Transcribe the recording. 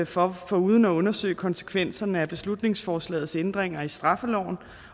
for foruden at undersøge konsekvenserne af beslutningsforslagets ændringer af straffeloven